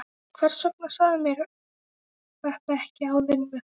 Hvers vegna sagðirðu mér þetta ekki áður en við fórum?